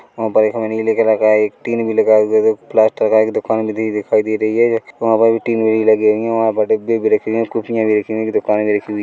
वहाँ पर हमें एक नीले कलर का एक टीन भी लगा हुआ है देखो प्लास्टर का एक दुकान भी दि दिखाई दे रही है वहाँ पर टीन विन भी वहाँ पर डब्बे भी रखे हुए है कुर्सियां भी रखी हुई है दुकाने भी रखी हुई है।